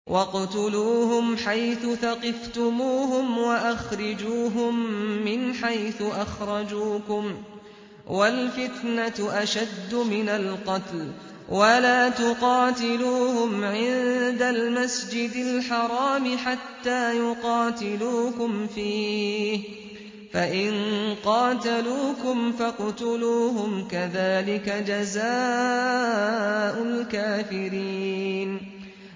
وَاقْتُلُوهُمْ حَيْثُ ثَقِفْتُمُوهُمْ وَأَخْرِجُوهُم مِّنْ حَيْثُ أَخْرَجُوكُمْ ۚ وَالْفِتْنَةُ أَشَدُّ مِنَ الْقَتْلِ ۚ وَلَا تُقَاتِلُوهُمْ عِندَ الْمَسْجِدِ الْحَرَامِ حَتَّىٰ يُقَاتِلُوكُمْ فِيهِ ۖ فَإِن قَاتَلُوكُمْ فَاقْتُلُوهُمْ ۗ كَذَٰلِكَ جَزَاءُ الْكَافِرِينَ